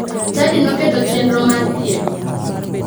Chadi noketo chenro mar piem.